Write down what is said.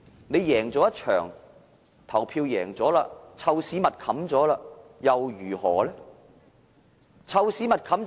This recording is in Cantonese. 你贏了一場投票，"臭屎密冚"又如何呢？